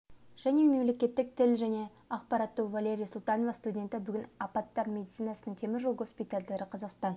және мемлекеттік тіл және ақпарат тобы валерия султанова студенті бүгін апаттар медицинасының темір жол госпитальдары қазақстан